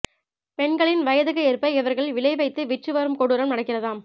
பெண்களின் வயதுக்கு ஏற்ப இவர்கள் விலை வைத்து விற்று வரும் கொடூரம் நடக்கிறதாம்